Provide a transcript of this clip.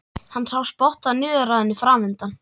Hann sá spottann niður að henni framundan.